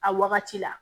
A wagati la